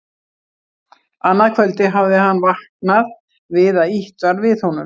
Annað kvöldið hafði hann vaknað við að ýtt var við honum.